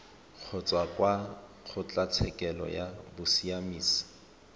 kgotsa kwa kgotlatshekelo ya bosiamisi